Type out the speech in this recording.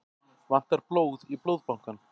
Vantar blóð í Blóðbankann